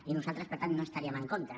i nosaltres per tant no hi estaríem en contra